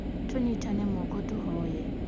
Tunyitane moko tũhoye